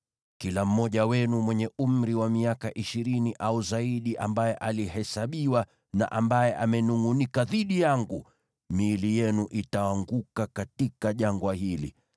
Kila mmoja wenu mwenye umri wa miaka ishirini au zaidi ambaye alihesabiwa na amenungʼunika dhidi yangu, miili yenu itaanguka katika jangwa hili.